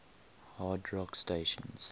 hard rock stations